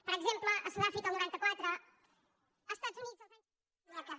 per exemple a sudàfrica el noranta quatre als estats units els anys